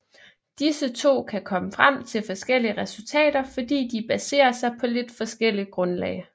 Disse to kan komme frem til forskellige resultater fordi de baserer sig på lidt forskelligt grundlag